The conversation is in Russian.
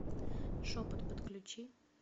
шепот подключи